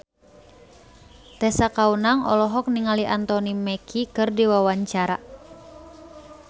Tessa Kaunang olohok ningali Anthony Mackie keur diwawancara